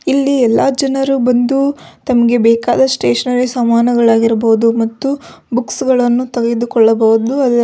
ಇಲ್ಲಿ ಎಲ್ಲ ಜನರು ಬಂದು ತಮಗೆ ಬೇಕಾದ ಸ್ಟೇಷನರಿ ಸಾಮಾನುಗಳು ಇರ್ಬಹುದು ಮತ್ತು ಬುಕ್ಕ್ಸ್ ಗಳನ್ನು ತೆಗೆದುಕೊಳ್ಳಬಹುದು ಅದರ --